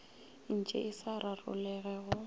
ntše e sa rarologe go